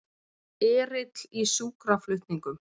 Erill í sjúkraflutningum